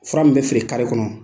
Fura min bɛ feere kɔnɔ.